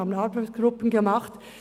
Wir haben Arbeitsgruppen gemacht.